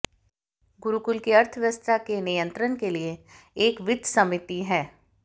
गुरुकुल की अर्थव्यवस्था के नियंत्रण के लिए एक वित्तसमिति है